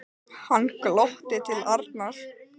Hann glotti til Arnar.